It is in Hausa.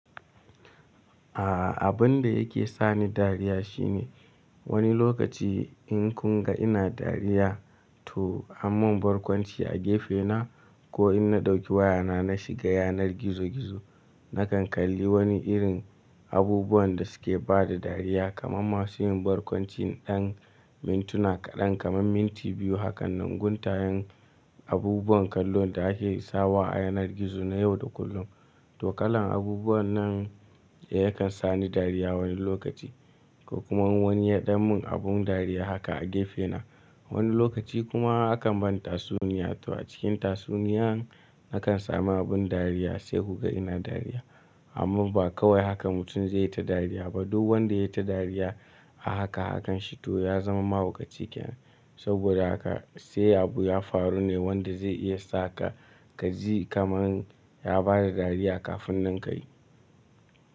A'a abun da yake sa ni dariya shine wani lokaci in kun ga ina dariya to aman barkwanci a gefena ko in na ɗauki wayana na shiga yanar gizo gizo nakan kalli wani irin abubuwan da suke bada dariya kaman masu yin barkwanci dan mintuna kaɗan kaman minti biyu. Hakanan guntayen abubuwan kallo da ake sawa a yanar gizo na yau da kullum. Tokalan abubuwan nan eh yakan sa ni dariya wani lokaci ko kuma wani ya ɗan mun abun dariya haka a gefena. Wani lokaci kuma akan bani tatsuniya to a cikin tatsuniyan nakan samu abun dariya sai kuka ina dariya. Amma ba kawai haka mutum zai yi ta dariya ba duk wanda ya yi ta dariya a haka hakan shi to ya zama mahaukaciken. Saboda haka sai abu ya faru ne wanda zai iya saka ka ji kaman ya bada dariya kafin nan ka yi.